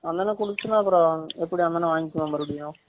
அந்த அன்னா குடுத்துச்சுனா அப்ரம் எப்டி அந்த அன்னா வாங்கி கிடுமா மருபடியும்